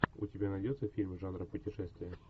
у тебя найдется фильм жанра путешествие